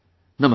Namaskar